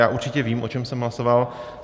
Já určitě vím, o čem jsem hlasoval.